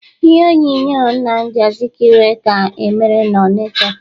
Ihe onyonyo Nnamdi Azikiwe ka emere n'Ọnịcha.